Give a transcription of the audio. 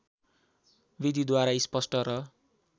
विधिद्वारा स्पष्ट र